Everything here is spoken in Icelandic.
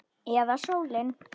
Eða sólin?